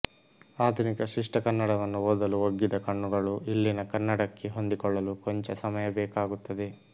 ಆಧುನಿಕ ಶಿಷ್ಟ ಕನ್ನಡವನ್ನು ಓದಲು ಒಗ್ಗಿದ ಕಣ್ಣುಗಳು ಇಲ್ಲಿನ ಕನ್ನಡಕ್ಕೆ ಹೊಂದಿಕೊಳ್ಳಲು ಕೊಂಚ ಸಮಯಬೇಕಾಗುತ್ತದೆ